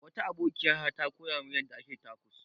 Wata abokiya ta ta koya min yanda ake tacos.